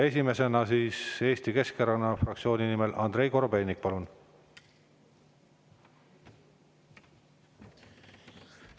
Esimesena Eesti Keskerakonna fraktsiooni nimel Andrei Korobeinik, palun!